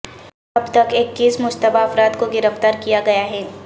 اب تک اکیس مشتبہ افراد کو گرفتار کیا گیا ہے